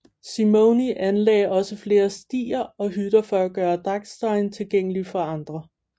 Simony anlagde også flere stier og hytter for at gøre Dachstein tilgængelig for andre